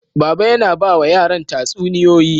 Baba yana ba wa yaran tatsuniyoyi.